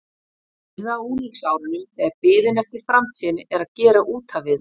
Það fyrra á unglingsárunum þegar biðin eftir framtíðinni er að gera út af við mann.